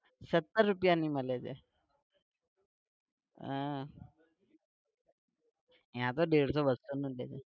सत्तर રૂપિયાની મળે છે આહ અહિંયા તો દેડશો બસ્સોમાં મળે છે.